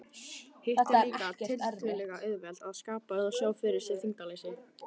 Hitt er líka tiltölulega auðvelt, að skapa eða sjá fyrir sér þyngdarleysi.